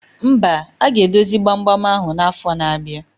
Mba, aga edozi gbam gbam ahụ na afo na abịa